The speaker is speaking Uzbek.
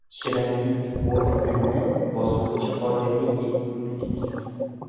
Shirinlik o‘rnini bosuvchi foydali yeguliklar.